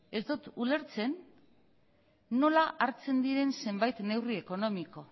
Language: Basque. ez dut ulertzen nola hartzen diren zenbait neurri ekonomiko